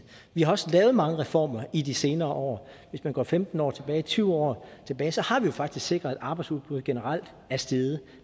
vi har også lavet mange reformer i de senere år hvis man går femten år tilbage eller tyve år tilbage har vi jo faktisk sikret at arbejdsudbuddet generelt er steget